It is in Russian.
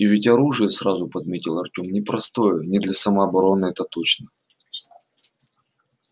и ведь оружие сразу подметил артём непростое не для самообороны это точно